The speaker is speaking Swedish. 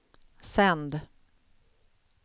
sänd